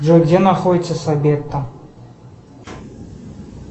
джой где находится сабетта